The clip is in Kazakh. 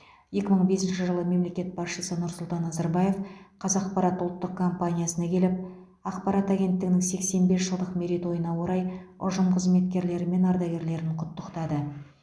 екі мың бесінші жылы мемлекет басшысы нұрсұлтан назарбаев қазақпарат ұлттық компаниясына келіп ақпарат агенттігінің сексен бес жылдық мерейтойына орай ұжым қызметкерлері мен ардагерлерін құттықтады